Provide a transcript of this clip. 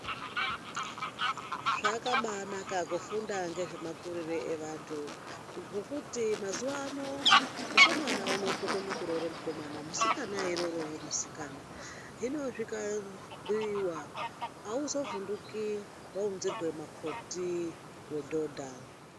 Zvakabaanaka kufunda ngezvemakurire evantu. Ngekuti mazuwa ano, mukomana unotokone kuroora mukomana, musikana eiroorawo musikana, hino zvikabhuiwa, auzovhunduki waunzirwa makhoti wedhodha.